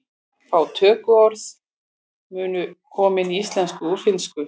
Fá tökuorð munu komin í íslensku úr finnsku.